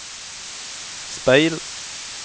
speil